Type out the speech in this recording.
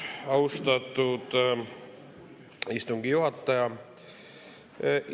Austatud istungi juhataja!